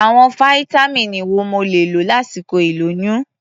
Àwọn fáítámíìnì wo mo lè lò lásìkò ìlóyún?